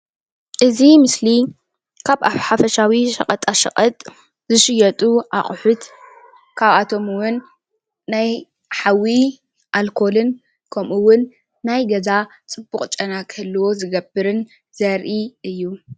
እዚ ምስሊ ካብ ሓፈሻዊ ሸቀጣ ሸቀጥ ኣቁሑት ካብኣቶም እውን ናይ ሓዊ ኣልኮልን ከምኡ እውን ናይ ገዛ ፅቡቅ ጨና ክህልዎ ዝገብርን ዘርኢ እዩ፡፡